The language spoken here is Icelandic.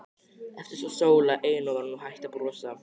Eftir stóð Sóla ein og var nú hætt að brosa.